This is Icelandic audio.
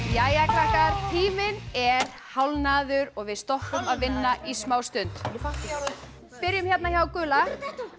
jæja krakkar tíminn er hálfnaður og við stoppum að vinna í smá stund byrjum hérna hjá gula